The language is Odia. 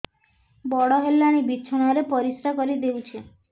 ବଡ଼ ହେଲାଣି ବିଛଣା ରେ ପରିସ୍ରା କରିଦେଉଛି